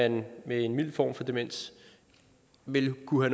at man med en mild form for demens vil kunne